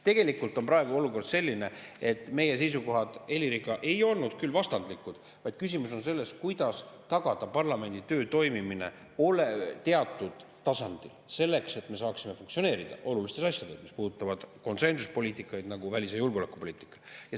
Tegelikult on praegu olukord selline, et meie seisukohad Heliriga ei olnud vastandlikud, vaid küsimus on selles, kuidas tagada parlamendi töö toimimine teatud tasandil, selleks et me saaksime funktsioneerida olulistes asjades, mis puudutavad konsensuspoliitikaid, nagu välis‑ ja julgeolekupoliitikat.